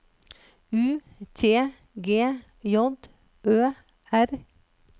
U T G J Ø R